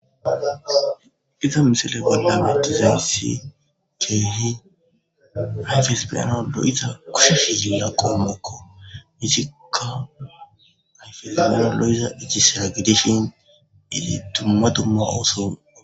Iza missile bola betizaysi kehi ayfes be'anawu lo'iza kushe ziriya qomokko izika ayfes be'anawu lo'iza ijisira gidishin kehi duma duma oso.